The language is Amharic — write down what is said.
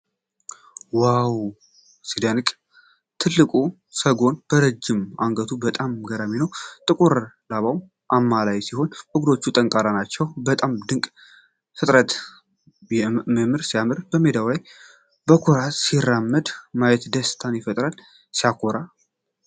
ዋው! ሲያስደንቅ! ትልቁ ሰጎን በረጅም አንገቱ በጣም ገራሚ ነው። ጥቁር ላባው አማላይ ሲሆን፣ እግሮቹ ጠንካራ ናቸው። በጣም ድንቅ ፍጥረት! ምራ ሲያምር! በሜዳው ላይ በኩራት ሲራመድ ማየት ደስታ ይፈጥራል። ሲያኮራ!